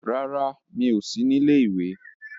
No, je suis à l'été